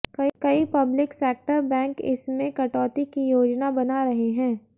कई public sector bank इसमें कटौती की योजना बना रहे हैं